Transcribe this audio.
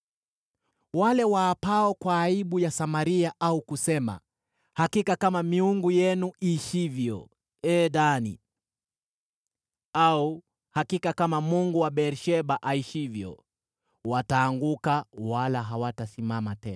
Wale waapao kwa aibu ya Samaria, au kusema, ‘Hakika kama miungu yenu iishivyo, ee Dani,’ au ‘Hakika kama mungu wa Beer-Sheba aishivyo’: wataanguka, wala hawatasimama tena.”